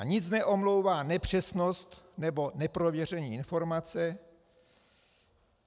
A nic neomlouvá nepřesnost nebo neprověření informace.